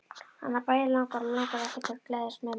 Hana bæði langar og langar ekki til að geðjast mömmu.